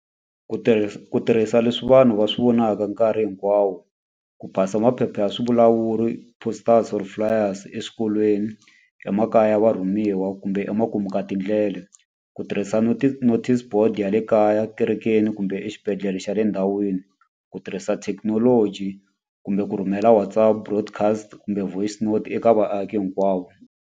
Ku ku tirhisa leswi vanhu va swi vonaka nkarhi hinkwawo, ku pass-a maphepha ya swi vulawuri posters or flyers rose eswikolweni, emakaya ya va rhumiwa kumbe emakumu ka tindlela. Ku tirhisa notice board ya le kaya, kerekeni, kumbe exibedhlele xa le ndhawini. Ku tirhisa thekinoloji, kumbe ku rhumela WhatsApp, broadcast kumbe voicenote eka vaaki hinkwavo.